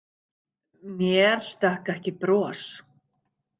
Mér stökk ekki bros.